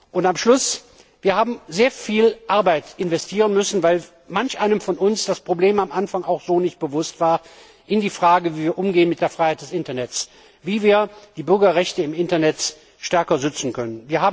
Und am Schluss Wir haben sehr viel Arbeit investieren müssen, weil manch einem von uns das Problem am Anfang auch so nicht bewusst war in der Frage, wie wir mit der Freiheit des Internets umgehen sollen, wie wir die Bürgerrechte im Internet stärker stützen können.